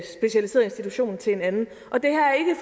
specialiseret institution til en anden